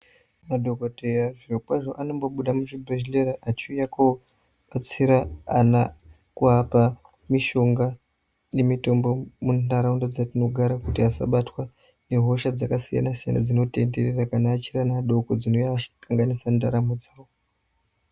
Madhokodheya zvirikwazvo anombobuda muchibhedhlera achiuya kobatsira ana kuapa mishonga nemitombo munharaunda dzatinogara kuti asabatwa ngehosha dzakasiyana siyana dzinotenderera kana achiri ana adoko dzinoakanganisa ndaramo dzavo.